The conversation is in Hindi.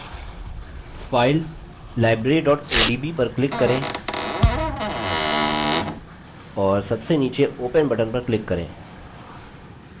file library odb पर click करें और सबसे नीचे open button पर click करें